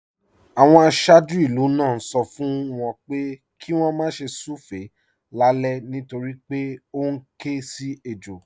Àwọn aṣáájú ìlú náà ń sọ fún wọn pé kí wọ́n má ṣe súfèé lálẹ́ nítorí pé ó ń ké sí ejò